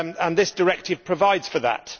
This directive provides for that.